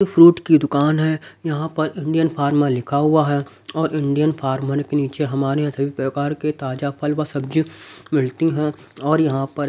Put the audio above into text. fruit की दुकान है यहां पर इंडियन फॉर्मर लिखा हुआ है और इंडियन फॉर्मर के नीचे हमारे यहां कई प्रकार के ताजा फल व सब्जी मिलती है और यहां पर--